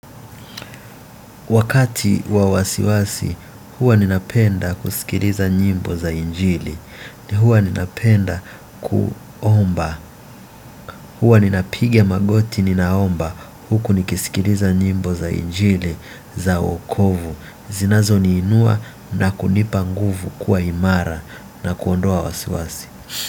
Wakati wa wasiwasi, huwa ninapenda kusikiliza nyimbo za injili, na huwa ninapenda kuomba, huwa ninapiga magoti ninaomba huku nikisikiliza nyimbo za injili za wokovu, zinazoniinua na kunipa nguvu kuwa imara na kuondoa wasiwasi.